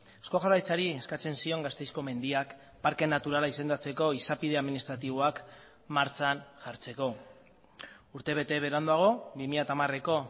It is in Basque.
eusko jaurlaritzari eskatzen zion gasteizko mendiak parke naturala izendatzeko izapide administratiboak martxan jartzeko urtebete beranduago bi mila hamareko